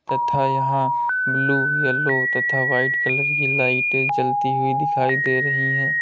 तथा यहां blue yellow तथा व्हाइट कलर की लाइटें जलती हुई दिखाई दे रही है।